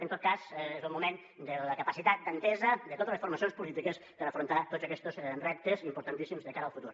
en tot cas és el moment de la capacitat d’entesa de totes les formacions polítiques per a afrontar tots aquestos reptes importantíssims de cara al futur